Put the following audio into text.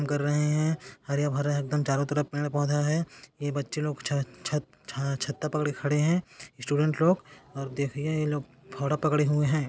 कर रहे है हरे-भरे एक दम चारों तरफ पेड़-पोधा है ये बच्चे लोग छत-छत छत्ता पकड़ के खड़े है स्टूडेंट लोग और देखिए ये लोग फाओड़ा पकड़े हुए है।